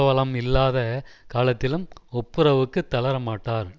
வளம் இல்லாத காலத்திலும் ஒப்புரவுக்குத் தளர மாட்டார்